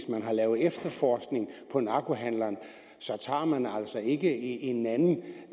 man har lavet efterforskning på narkohandleren så tager man altså ikke en